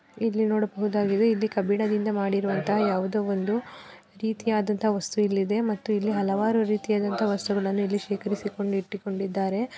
ಇಲ್ಲಿ ನೋಡಬಹುದಾಗಿದೆ ಇಲ್ಲಿ ಕಬ್ಬಿಣದಿಂದ ಮಾಡಿರೋ ಅಂತಹ ಯಾವುದೊ ಒಂದು ರೀತಿಯಾದಂತಹ ವಾಸ್ತು ಇಲ್ಲಿ ಇದೆ ಮತ್ತು ಇಲ್ಲಿ ಹಲವಾರು ರೀತಿಯಾದಂತಹ ವಾಸ್ತುಗಳನ್ನು ಇಲ್ಲಿ ಶೇಖರಿಸಿಕೊಂಡ ಇಟ್ಟಿಕೊಂಡಿದ್ದಾರೆ.